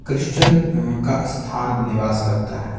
Christian म का स्थान निवास लगता है।